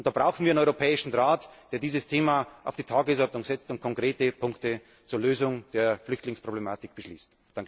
Da brauchen wir den Europäischen Rat, der dieses Thema auf die Tagesordnung setzt und konkrete Punkte zur Lösung der Flüchtlingsproblematik beschließt.